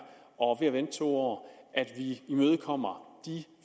og ved at vente to år imødekommer de